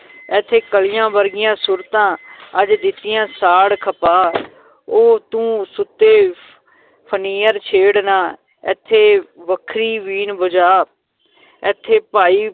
ਏਥੇ ਕਲੀਆਂ ਵਰਗੀਆਂ ਸੂਰਤਾਂ ਅੱਜ ਦਿੱਤੀਆਂ ਸਾੜ ਖਪਾ ਉਹ ਤੂੰ ਸੁਤੇ ਫਨੀਅਰ ਛੇੜ ਨਾ, ਏਥੇ ਵੱਖਰੀ ਬੀਨ ਵਜਾ ਏਥੇ ਭਾਈ